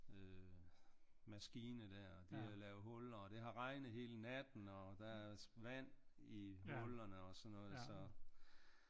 Øh maskine der og de har lavet huller og det har regnet hele natten og der er vand i hullerne og sådan noget så